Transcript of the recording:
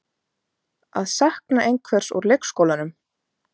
Að sakna einhvers úr leikskólanum